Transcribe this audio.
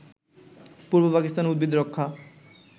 পূর্ব পাকিস্তান উদ্ভিদ রক্ষা